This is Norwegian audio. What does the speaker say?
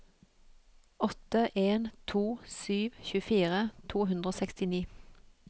åtte en to sju tjuefire to hundre og sekstini